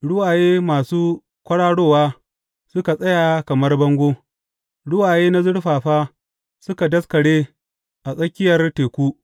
Ruwaye masu kwararowa, suka tsaya kamar bango; ruwaye na zurfafa suka daskare a tsakiyar teku.